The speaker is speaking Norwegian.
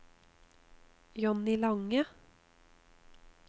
Johnny Lange